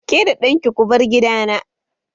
Ke da ɗanki ko bar gidana!